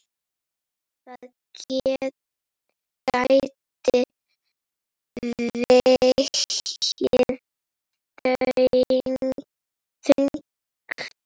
Það gæti vegið þungt.